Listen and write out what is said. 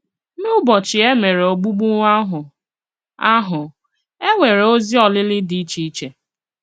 N'ụ̀bọchị e mèré ògbùgbù àhụ, àhụ, e nwere òzì olìlì dị iche iche.